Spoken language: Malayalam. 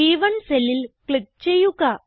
ബ്1 സെല്ലിൽ ക്ലിക്ക് ചെയ്യുക